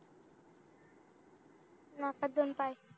नाकात दोन पाय